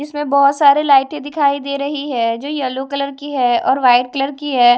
इसमें बहोत सारे लाइटें दिखाई दे रही है जो येलो कलर की है और वाइट कलर की है।